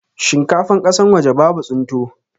Shinkafan kasan waje babu tsinto